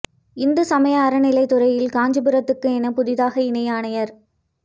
இந்து சமய அறநிலையத் துறையில் காஞ்சிபுரத்துக்கு என புதிதாக இணை ஆணையா்